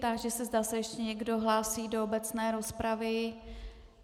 Táži se, zda se ještě někdo hlásí do obecné rozpravy.